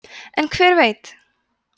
en hver veit